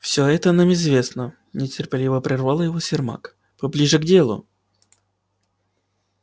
всё это нам известно нетерпеливо прервал его сермак поближе к делу